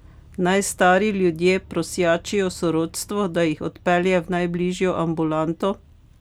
Naj stari ljudje prosjačijo sorodstvo, da jih odpelje v najbližjo ambulanto?